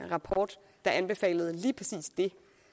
rapport der anbefalede lige præcis det